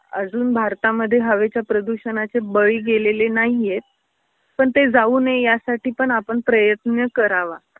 अजून भारतामध्ये हवेच प्रदूषणाचे बळी गेलेले नाहीयेत पण ते जाऊ नये या साठी पण आपण प्रयत्न करावा.